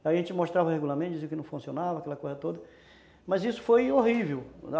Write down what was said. Aí a gente mostrava regularmente, dizia que não funcionava, aquela coisa toda, mas isso foi horrível.